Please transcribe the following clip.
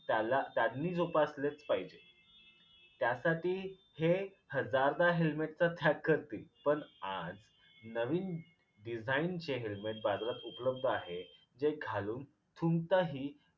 त्याला त्यांनी जोपासलेच पाहिजे. त्यासाठी हे हजारदा helmet चा त्याग करतील पण आज नवीन design चे helmet बाजारात उपलब्ध आहेत जे घालून थुंकताही